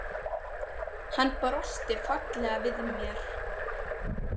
Hann brosti fallega við mér.